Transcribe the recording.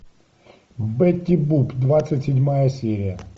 бетти буп двадцать седьмая серия